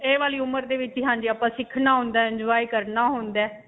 ਇਹ ਵਾਲੀ ਉਮਰ ਦੇ ਵਿੱਚ ਹੀ ਹਾਂਜੀ ਆਪਾਂ ਸਿਖਣਾ ਹੁੰਦਾ, enjoy ਕਰਨਾ ਹੁੰਦਾ ਹੈ.